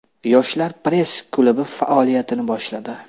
Yoshlar press-klubi faoliyatini boshladi .